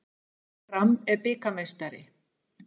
Fram er bikarmeistari